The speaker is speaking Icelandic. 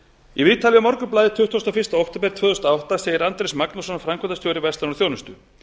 í viðtali við morgunblaðið tuttugasta og fyrsta október tvö þúsund og átta segir andrés magnússon framkvæmdastjóri verslunar og þjónustu